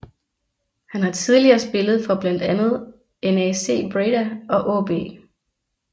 Han har tidligere spillet for blandt andet NAC Breda og AaB